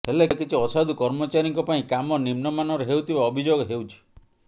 ହେଲେ କିଛି ଅସାଧୁ କର୍ମଚାରୀଙ୍କ ପାଇଁ କାମ ନିମ୍ନମାନର ହେଉଥିବା ଅଭିଯୋଗ ହେଉଛି